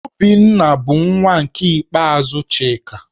Obinna bụ nwa ikpeazụ Chika.